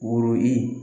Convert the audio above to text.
Woro i